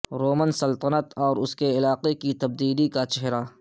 Roman سلطنت اور اس کے علاقے کی تبدیلی کا چہرہ